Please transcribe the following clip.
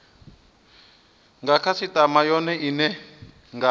nga khasitama yone ine nga